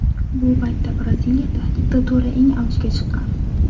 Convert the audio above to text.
Bu paytda Braziliyada diktatura eng avjiga chiqqan.